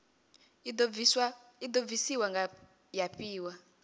i do bvisiwa ya fhiwa